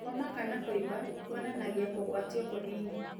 Homa kana kũimba kũonanagia kũgwatio kũnini.